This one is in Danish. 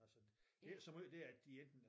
Altså det er ikke så måj det at de enten